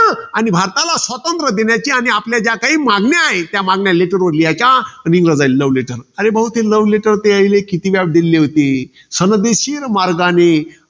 आणि भारताला स्वातंत्र्य देण्याची आणि आपल्या ज्या काही मागण्या आहेत, त्या letter वर लिहायच्या. आणि इंग्रजांना love letter अरे भाऊ, ते love letter ते यायला किती व्याप दिले होते. सनदेशील मार्गाने,